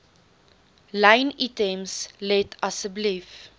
lynitems let asseblief